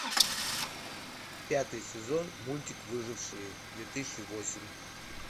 пятый сезон мультик выжившие две тысячи восемь